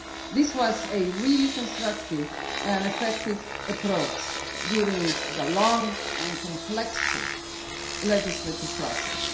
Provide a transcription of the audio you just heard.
This was a really constructive and effective approach during the long and complex legislative process.